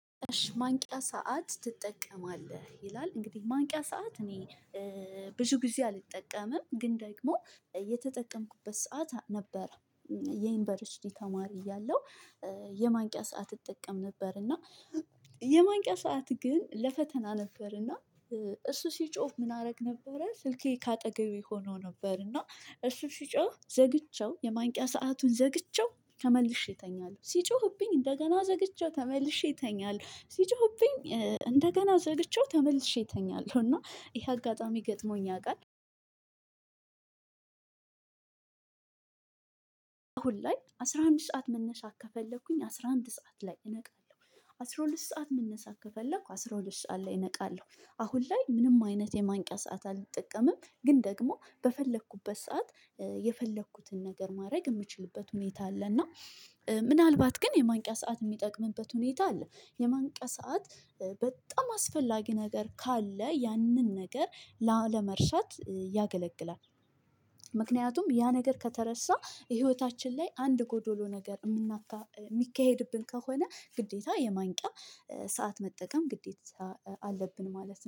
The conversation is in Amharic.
ማንቂያ ሰዓት ትጠቀማለህ? ይላል እንግዲህ ማንቂያ ሰዓት እኔ ብዙ ጊዜ አልጠቀምም ግን ደግሞ የተጠቀምኩበት ሰዓት ነበረ የዩኒቨርሲቲ ተማሪ እያለሁ የማንቂያ ሰዓት እጠቀም ነበር እና የማንቂያ ሰዓት ግን ለፈተና ነበርና እሱ ሲጮህ ምን አደረግ ነበረ ስልኬ ከአጠገቤ ሆኖ ነበር እና እሱ ሲጮህ ዘግቼው የማንቂያ ሰአቱን ዘግቼው ተመልሼ እተኛለሁ። ሲጮህብኝ እንደገና ዘግቼው ተመልሼ እተኛለሁ ሲጮሁብኝ እንደገና ዘግቼው ተመልሼ እተኛለሁ እና ይሄ አጋጣሚ ገጥሞኝ ያውቃል አሁን ላይ አስራ አንድ ሰዓት መነሳት ከፈለኩኝ አስራ አንድ ሰዓት ላይ እነቃለሁ አስራ ሁለት ሰዓት መነሳት ከፈለኩ አስራ ሁለት ሰዓት ላይ እነቃለሁ አሁን ላይ ምንም አይነት የማንቂያ ሰዓት አልጠቀምም። ግን ደግሞ በፈለኩበት ሰዓት የፈለኩትን ነገር ማድረግ የምችልበት ሁኔታ አለ እና ምናልባት ግን የማንቂያ ሰዓት የሚጠቅምበት ሁኔታ አለ የማንቂያ ሰዓት በጣም አስፈላጊ ነገር ካለ ያንን ነገር ላለመርሳት ያገለግላል። ምክንያቱም ያ ነገር ከተረሳ ህይወታችን ላይ አንድ ጎዶሎ ነገር የሚካሄድብን ከሆነ ግዴታ የማንቂያ ሰዓት መጠቀም ግዴታ አለብን ማለት ነው።